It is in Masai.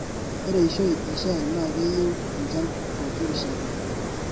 Ore eishoi e shai na keyieu enchan pokirishata.